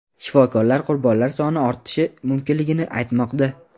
Shifokorlar qurbonlar soni ortishi mumkinligini aytmoqda.